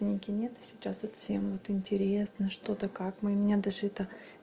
книги нет а сейчас вот всем вот интересно что да как мы меня даже это